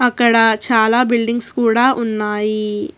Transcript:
ఇక్కడ చాలా బిల్డింగ్స్ కూడా ఉన్నాయి.